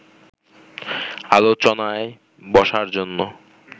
আলোচনায় বসার জন্য